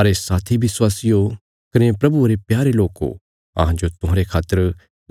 अरे साथी विश्वासियो कने प्रभुये रे प्यारे लोको अहांजो तुहांरे खातर